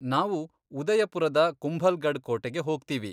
ನಾವು ಉದಯಪುರದ ಕುಂಭಲ್ಗಢ್ ಕೋಟೆಗೆ ಹೋಗ್ತೀವಿ.